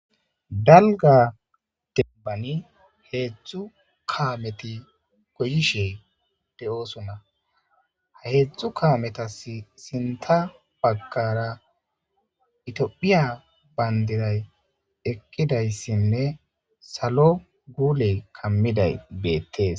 dalga denbani heetztdzu kaameti goyishe de7oosuna heetzdtzu kaametasi sinta baggara itiphiya baynderay ekkidayssinne salo guule kammiday beettees